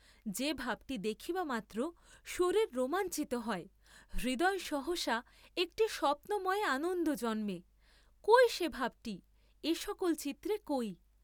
যে ভাবটি দেখিবামাত্র শরীর রোমাঞ্চিত হয়, হৃদয়ে সহসা একটি স্বপ্নময় আনন্দ জন্মে, কই সে ভাবটি এ সকল চিত্রে কই?